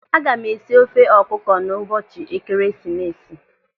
Aga m esi ofe ọkụkọ n'ụbọchị Ekeresimesi.